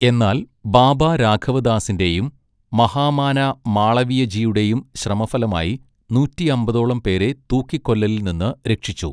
എന്നാൽ ബാബ രാഘവദാസിന്റെയും മഹാമാന മാളവിയ ജിയുടെയും ശ്രമഫലമായി നൂറ്റിയമ്പതോളം പേരെ തൂക്കിക്കൊല്ലലിൽ നിന്ന് രക്ഷിച്ചു.